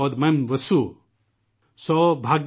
مایم وسو|